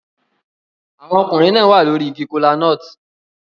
Àwọn ọkùnrin náà wà lórí igi kola-nut